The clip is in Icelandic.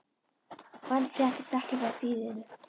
Og enn fréttist ekkert af þýfinu.